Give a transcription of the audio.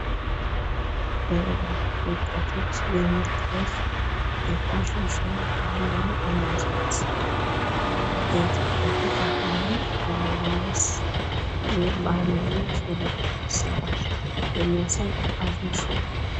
በወጣቶች የሚታይ የፋሽን ሾው ባህላዊ አልባሳት በኢትዮጵያ ባህላዊ አለባበስ እና ባህላዊ የሹሩባ አሰራር የሚያሳይ የፋሽን ሾው።